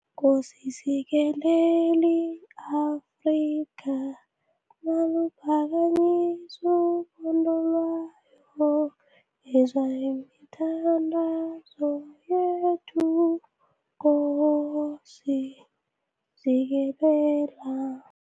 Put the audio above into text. Nkosi sikelela i-Afrika maluphakanyiswe uphondo lwayo yizwa imithandazo yethu Nkosi sikelala.